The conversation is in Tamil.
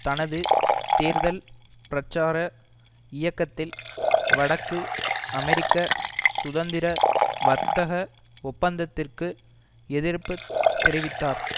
தனது தேர்தல் பிரச்சார இயக்கத்தில் வடக்கு அமெரிக்க சுதந்திர வர்த்தக ஒப்பந்தத்திற்கு எதிர்ப்பு தெரிவித்தார்